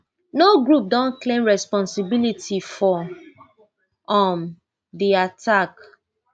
no group don claim responsibility for um di attack